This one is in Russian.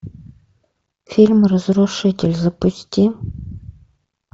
фильм разрушитель запусти